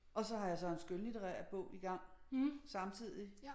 Og så jeg så en skønlitterær bog i gang samtidigt